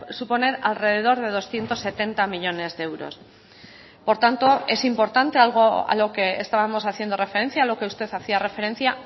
suponer alrededor de doscientos setenta millónes de euros por tanto es importante algo a lo que estábamos haciendo referencia lo que usted hacía referencia